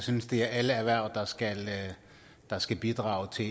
synes det er alle erhverv der skal der skal bidrage til